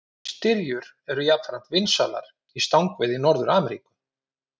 Styrjur eru jafnframt vinsælar í stangaveiði í Norður-Ameríku.